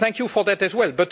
Thank you for that as well.